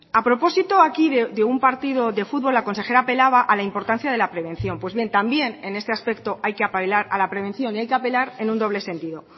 a propósito aquí de un partido de futbol la consejera apelaba a la importancia de la prevención pues bien también en este aspecto hay que apelar a la prevención y hay que apelar en un doble sentido